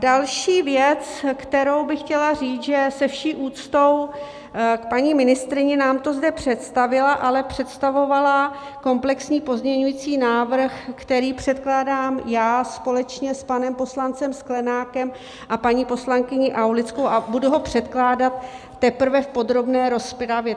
Další věc, kterou bych chtěla říct, že se vší úctou k paní ministryni, nám to zde představila, ale představovala komplexní pozměňovací návrh, který předkládám já společně s panem poslancem Sklenákem a paní poslankyní Aulickou, a budu ho předkládat teprve v podrobné rozpravě.